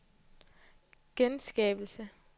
genskabelse